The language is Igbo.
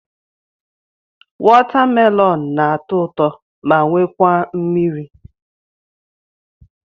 Watamelonụ na-atọ ụtọ ma wekwa mmiri.